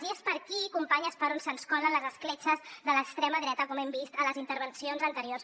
i és per aquí companyes per on se’ns colen les escletxes de l’extrema dreta com hem vist a les intervencions anteriors